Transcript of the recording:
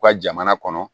U ka jamana kɔnɔ